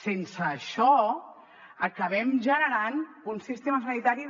sense això acabem generant un sistema sanitari